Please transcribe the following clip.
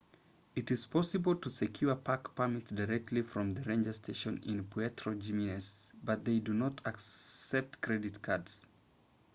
it is possible to secure park permits directly from the ranger station in puerto jiménez but they do not accept credit cards